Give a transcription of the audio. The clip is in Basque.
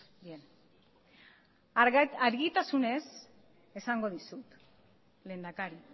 bien argitasunez esango dizut lehendakari